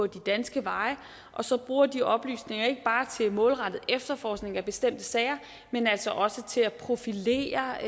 danske veje og så bruger de oplysninger ikke bare til målrettet efterforskning af bestemte sager men altså også til at profilere